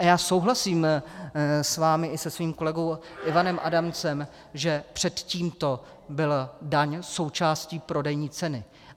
A já souhlasím s vámi i se svým kolegou Ivanem Adamcem, že před tímto byla daň součástí prodejní ceny.